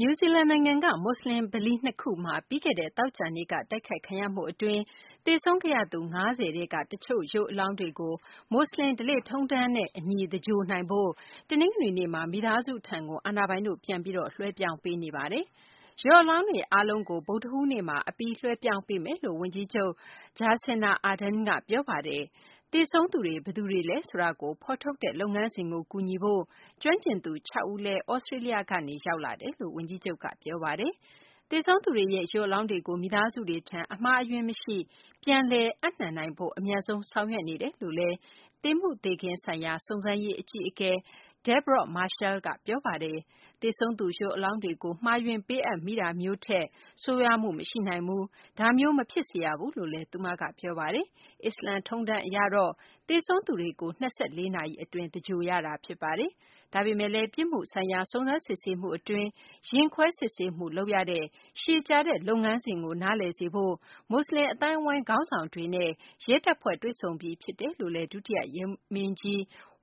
နယူးဇီလန် နိုင်ငံက မူဆလင် ဗလီ ၂ ခုမှာ ပြီးခဲ့တဲ့ သောကြာနေ့က တိုက်ခိုက်ခံရမှု အတွင်း သေဆုံးခဲ့ရသူ ၅ဝ ထဲက တချို့ ရုပ်အလောင်းတွေကို မူဆလင် ဓလေ့ထုံးတမ်းနဲ့ အညီ သင်္ဂြိုဟ်နိုင်ဖို့ တနင်္ဂနွေနေ့မှာ မိသားစုထံ အာဏာပိုင်တို့ ပြန်ပြီး လွှဲပြောင်း ပေးနေပါတယ်။ ရုပ်အလောင်းတွေ အားလုံးကို ဗုဒ္ဓဟူးနေ့မှာ အပြီး လွှဲပြောင်းပေးမယ်လို့ ဝန်ကြီးချုပ် Jacinda Ardern က ပြောပါတယ်။ သေဆုံးသူတွေ ဘယ်သူတွေလဲဆိုတာကို ဖော်ထုတ်တဲ့ လုပ်ငန်းစဉ်ကို ကူညီဖို့ ကျွမ်းကျင်သူ ၆ ဦး လည်း သြစတေးလျကနေ ရောက်လာကြောင်း ဝန်ကြီးချုပ်က ပြောပါတယ်။ သေဆုံးသူတွေရဲ့ ရုပ် အလောင်းတွေကို မိသားစုတွေထံ အမှားအယွင်းမရှိ ပြန်လည် ပေးအပ်နိုင်ဖို့ အမြန်ဆုံး ဆောင်ရွက် နေတယ်လို့လည်း သေမှုသေခင်းဆိုင်ရာ စုံစမ်းရေး အကြီးအကဲ Deborah Marshall က ပြောပါ တယ်။ သေဆုံးသူ ရုပ်အလောင်းတွေကို မှားယွင်း ပေးအပ်မိတာမျိုးထက် ဆိုးရွားမှု မရှိနိုင်ဘူး၊ ဒါမျိုး မဖြစ်စေရဘူးလို့လည်း သူမက ပြောပါတယ်။ အစ္စလာမ် ထုံးတမ်းအရတော့ သေဆုံးသူတွေကို ၂၄ နာရီ အတွင်း သင်္ဂြိုဟ်ရတာ ဖြစ်ပါတယ်။ ဒါပေမယ့်လည်း ပြစ်မှုဆိုင်ရာ စုံစမ်းစစ်ဆေးမှု အတွင်း ရင်ခွဲစစ်ဆေးမှု လုပ်ရတဲ့ ရှည်ကြာတဲ့ လုပ်ငန်းစဉ်ကို နားလည်စေဖို့ မူဆလင် အသိုင်းအဝိုင်းက ခေါင်းဆောင်တွေနဲ့ ရဲတပ်ဖွဲ့ တွေ့ဆုံပြီး ဖြစ်တယ်လို့လည်း ဒုတိယ ရဲမင်းကြီး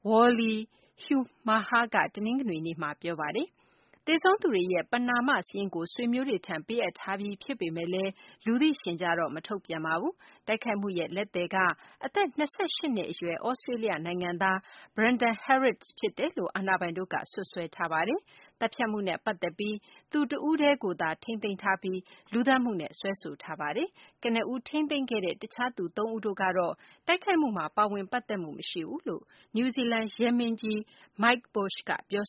Wally Haumaha က တနင်္ဂနွေနေ့မှာ ပြောပါတယ်။ သေဆုံးသူတွေရဲ့ ပဏာမ စာရင်းကို ဆွေမျိုးတွေထံ ပေးအပ်ထားပြီး ဖြစ်ပေမယ့်လည်း လူသိရှင်ကြားတော့ မထုတ်ပြန်ပါဘူး။ တိုက်ခိုက်မှုရဲ့ လက်သည်က အသက် ၂၈ နှစ် အရွယ် သြစတေးလျ နိုင်ငံသား Brenton Harris ဖြစ်တယ်လို့ အာဏာပိုင်တို့က စွပ်စွဲထားပါတယ်။ သတ်ဖြတ်မှုနဲ့ ပတ်သက်ပြီး သူတဦးတည်းကိုသာ ထိန်းသိမ်းထားပြီး လူသတ်မှုနဲ့ စွဲဆိုထားတာပါ။ ကနဦး ထိန်းသိမ်းခဲ့တဲ့ တခြားသူ သုံးဦးတို့ကတော့ တိုက်ခိုက်မှုမှာ ပါဝင် ပတ်သက်မှု မရှိဘူးလို့ နယူးဇီလန် ရဲမင်းကြီး Mike Bush က ပြော